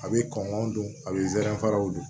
A bɛ kɔnkɔnw don a bɛ zɛrɛn fara olu